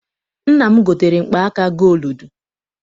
Nna m gotere mkpa aka gooludu.